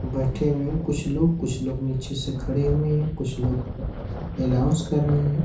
बैठे हुए कुछ लोग कुछ लोग नीचे से खड़े हुए हैं। कुछ लोग अनाउन्स कर रहे हैं।